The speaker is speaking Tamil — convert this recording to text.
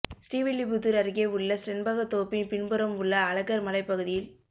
ஸ்ரீவில்லிப்புத்தூர் அருகே உள்ள செண்பகத் தோப்பின் பின்புறம் உள்ள அழகர் மலைப் பகுதியில்